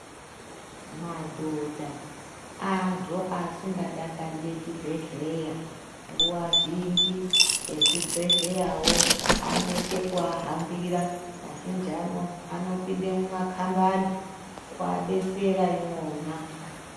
Madhodha antu asingadakariri chibhehlera nguwa zhinji ezvibhehleya wo anoita kuahambira kazhinji anopinda mumakambani obaidetsera imwoma.